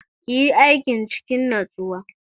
Ki yi aikin cikin natsuwa!